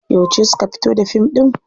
Yauce suka fito da fim ɗin?